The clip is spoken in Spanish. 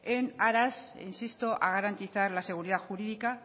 en aras insisto a garantizar la seguridad jurídica